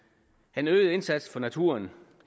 en øget indsats for naturen